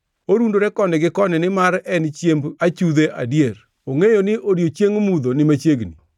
Orundore koni gi koni nimar en chiemb achudhe adier; ongʼeyo ni odiechieng mudho ni machiegni.